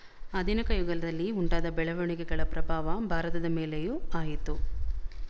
ಆಧುನಿಕ ಯುಗದಲ್ಲಿ ಉಂಟಾದ ಬೆಳವಣಿಗೆಗಳ ಪ್ರಭಾವ ಭಾರತದ ಮೇಲೆಯೂ ಆಯಿತು